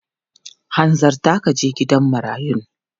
Hanzarta ka je gidan marayun!